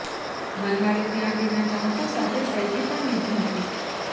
મલ્હારે ત્યાં તેના ચાહકો સાથે સેલ્ફી પણ લીધી હતી